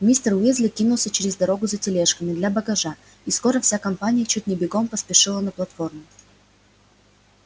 мистер уизли кинулся через дорогу за тележками для багажа и скоро вся компания чуть не бегом поспешила на платформу